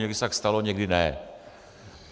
Někdy se tak stalo, někdy ne.